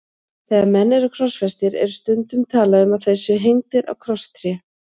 Þegar menn eru krossfestir er stundum talað um að þeir séu hengdir á krosstré.